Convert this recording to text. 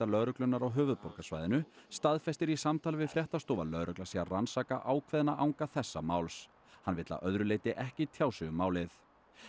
lögreglunnar á höfuðborgarsvæðinu staðfestir í samtali við fréttastofu að lögregla sé að rannsaka ákveðna anga þessa máls hann vill að öðru leyti ekki tjá sig um málið